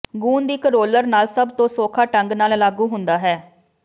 ਗੂੰਦ ਇੱਕ ਰੋਲਰ ਨਾਲ ਸਭ ਤੋਂ ਸੌਖਾ ਢੰਗ ਨਾਲ ਲਾਗੂ ਹੁੰਦਾ ਹੈ